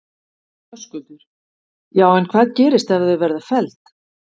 Höskuldur: Já en hvað gerist ef að þau verða felld?